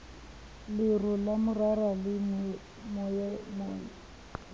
lero la morara le monyang